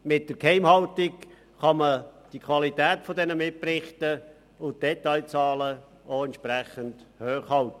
Mit der Geheimhaltung kann man die Qualität dieser Mitberichte und der genauen Zahlen entsprechend hoch halten.